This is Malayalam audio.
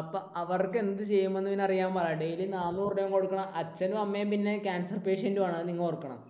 അപ്പോൾ അവർക്ക് എന്ത് ചെയ്യുമെന്ന് അവന് അറിയാൻ പാടില്ല. daily നാനൂറു രൂപയും കൊടുക്കണം, അച്ഛനും അമ്മയും പിന്നെ cancer patient ഉം ആണ്. അത് നിങ്ങൾ ഓർക്കണം.